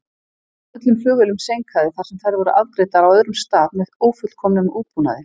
Öllum flugvélum seinkaði þar sem þær voru afgreiddar á öðrum stað með ófullkomnum útbúnaði.